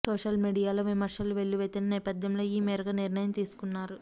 social మీడియాలో విమర్శలు వెల్లువెత్తిన నేపథ్యంలో ఈ మేరకు నిర్ణయం తీసుకున్నారు